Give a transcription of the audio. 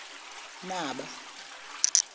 naba